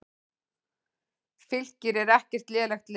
Fylkir er ekkert lélegt lið.